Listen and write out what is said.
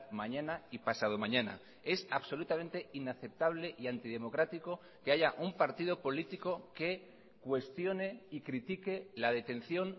mañana y pasado mañana es absolutamente inaceptable y antidemocrático que haya un partido político que cuestione y critique la detención